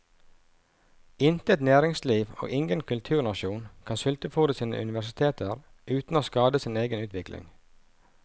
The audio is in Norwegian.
Intet næringsliv og ingen kulturnasjon kan sultefôre sine universiteter uten å skade sin egen utvikling.